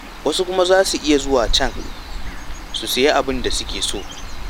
Wasu kuma za su iya zuwa can su sayi abinda suke so.